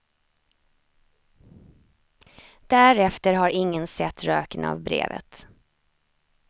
Därefter har ingen sett röken av brevet.